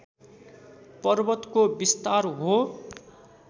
पर्वतको विस्तार हो